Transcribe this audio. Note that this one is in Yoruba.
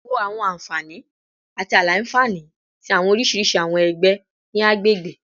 Wo awọn anfani ati aila-nfani ti awọn oriṣiriṣi awọn ẹgbẹ ni agbegbe